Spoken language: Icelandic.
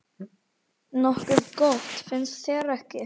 Nokkuð gott, finnst þér ekki?